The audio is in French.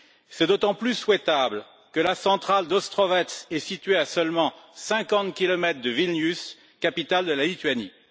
C'est d'autant plus souhaitable que la centrale d'Ostrovets est située à seulement 50 kilomètres de Vilnius, capitale de la Lituanie.